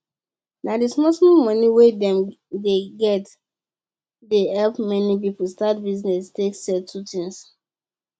na d small small money wey dem dey get dey help many people start business take settle things